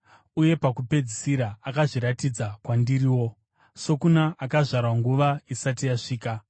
uye pakupedzisira akazozviratidza kwandiriwo, sokuna akazvarwa nguva isati yasvika.